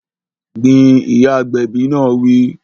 Gbin! Ìyá agbẹ̀bi náà wí